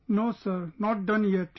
No sir, not done yet